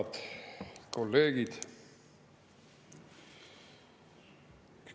Head kolleegid!